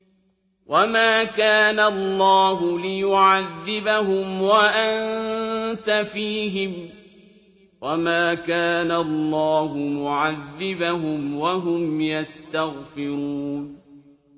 وَمَا كَانَ اللَّهُ لِيُعَذِّبَهُمْ وَأَنتَ فِيهِمْ ۚ وَمَا كَانَ اللَّهُ مُعَذِّبَهُمْ وَهُمْ يَسْتَغْفِرُونَ